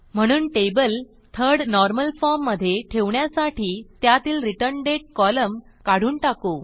म्हणून table third normal form मधे ठेवण्यासाठी त्यातीलReturnDate कॉलम काढून टाकू